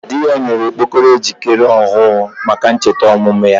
Di ya nyere ya okpokoro echi ejikere Onwe ohuru maka ncheta ybichi omumu ya.